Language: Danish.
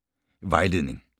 Vejledning: